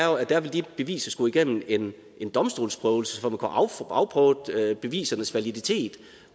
jo at der vil de beviser skulle igennem igennem en domstolsprøvelse for at afprøvet bevisernes validitet